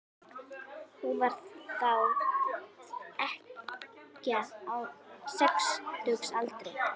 Hún var þá ekkja á sextugsaldri.